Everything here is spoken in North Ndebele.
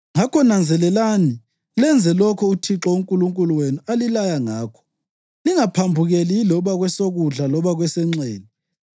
Ngakho nanzelelani lenze lokho uThixo uNkulunkulu wenu alilaya ngakho; lingaphambukeli yiloba kwesokudla loba kwesenxele.